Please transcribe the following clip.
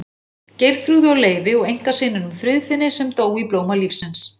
Það er óskaplega mikið um að vera, úrslitaleikur í fótbolta milli Skotlands og Englands.